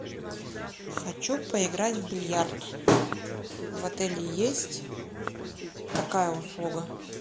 хочу поиграть в бильярд в отеле есть такая услуга